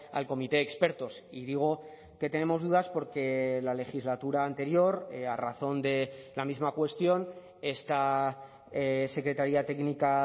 al comité de expertos y digo que tenemos dudas porque la legislatura anterior a razón de la misma cuestión esta secretaría técnica